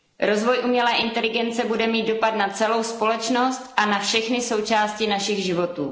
Rozvoj umělé inteligence bude mít dopad na celou společnost a na všechny součásti našich životů.